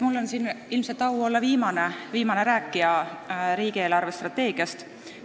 Mul on ilmselt au olla viimane rääkija riigi eelarvestrateegiast.